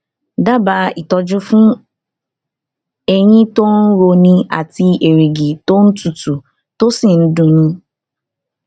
dábàá ìtọjú fún eyín tó ń roni àti erìgì tó tutù tó sì ń dun ni